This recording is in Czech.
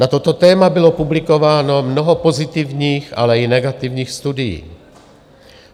Na toto téma bylo publikováno mnoho pozitivních, ale i negativních studií.